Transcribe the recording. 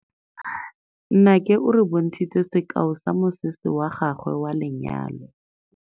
Nnake o re bontshitse sekaô sa mosese wa gagwe wa lenyalo.